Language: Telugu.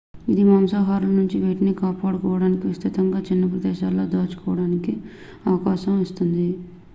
ఇది మాంసాహారుల నుండి వాటిని కాపాడుకోవడానికి విస్తృతంగా చిన్న ప్రదేశాలలో దాచుకోవడానికి అవకాశం ఇస్తుంది